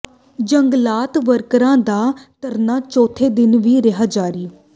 ਜੰਗਲਾਤ ਵਰਕਰਾਂ ਦਾ ਧਰਨਾ ਚੌਥੇ ਦਿਨ ਵੀ ਰਿਹਾ ਜਾਰੀ